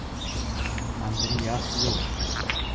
Andreas Hjort